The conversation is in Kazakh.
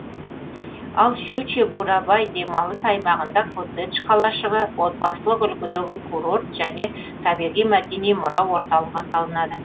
ал шучье бурабай демалыс аймағында коттедж қалашығы отбасылық үлгідегі курорт және табиғи мәдени мұра орталығы салынады